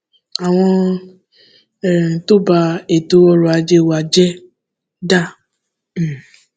àwọn um tó bá ètò ọrọ ajé wa jẹ dá um